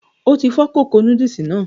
O ti fọ kókó núdùlsì náà.